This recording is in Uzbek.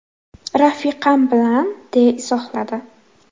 Rafiqam bilan”, deya izohladi.